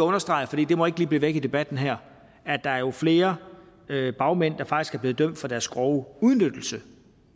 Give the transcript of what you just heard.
understrege for det må ikke blive væk i debatten her at der jo er flere bagmænd der faktisk er blevet dømt for deres grove udnyttelse